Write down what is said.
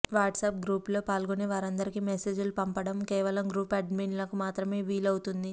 WhatsApp group లో పాల్గొనే వారందరికీ మెసేజ్ లు పంపబడం కేవలం గ్రూప్ అడ్మిన్ లకు మాత్రమే వీలుఅవుతుంది